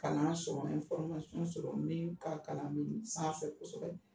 Kalan sɔrɔ sɔrɔ min ka kalan mi sanfɛ kosɛbɛ.